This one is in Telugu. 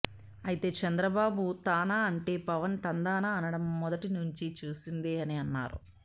అయితే చంద్రబాబు తానా అంటే పవన్ తందానా అనడం మొదటి నుంచి చూసిందే అని అన్నారు